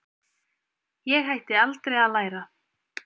Ég hætti aldrei að læra.